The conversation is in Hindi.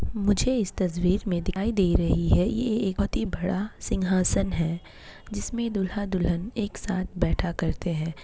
मुझे इस तस्वीर में दिखाई दे रही है ये एक बहुत ही बड़ा सिंहासन है जिसमे ढुल्हा - दुलहन एक साथ बैठा करते हैं।